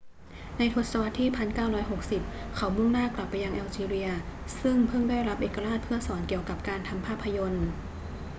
ในทศวรรษที่ 1960 เขามุ่งหน้ากลับไปยังแอลจีเรียซึ่งเพิ่งได้รับเอกราชเพื่อสอนเกี่ยวกับการกำกับภาพยนตร์